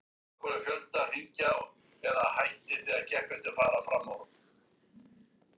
Nú er ég hálfpartinn farinn að sjá eftir þessu öllu.